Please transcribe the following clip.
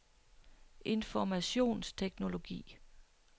informationsteknologi